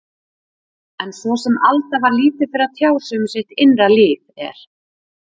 En svo sem Alda var lítið fyrir að tjá sig um sitt innra líf, er